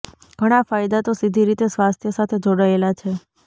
ઘણા ફાયદા તો સીધી રીતે સ્વાસ્થ્ય સાથે જોડાયેલા છે